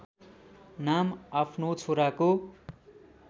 नाम आफ्नो छोराको